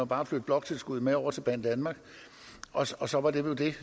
bare flytte bloktilskuddet med over til banedanmark og så og så var det vel det